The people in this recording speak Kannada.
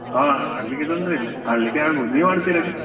ಹಾ ಆಡ್ಲಿಕ್ಕೆ ತೊಂದ್ರೆ ಇಲ್ಲ ಆಡ್ಲಿಕ್ಕೆ ಆಗ್ಬಹುದು. ನೀವು ಆಡ್ತೀರಾ?